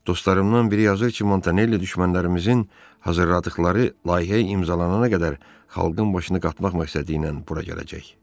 Dostlarımdan biri yazır ki, Montanelli düşmənlərimizin hazırladıqları layihə imzalanana qədər xalqın başını qatmaq məqsədi ilə bura gələcək.